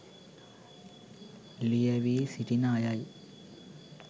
ලියැවී සිටින අය යි.